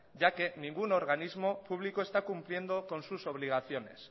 ya que ningún organismo público está cumpliendo con sus obligaciones